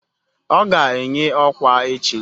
Ọ ga-enye ọkwa echi